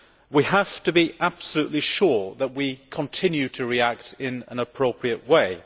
We have to be absolutely sure that we continue to react in an appropriate way.